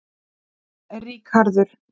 Ríkharður